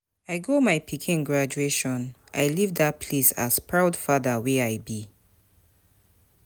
I go my pikin graduation, I leave dat place as proud father wey I be